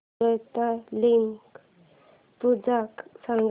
हरतालिका पूजा सांग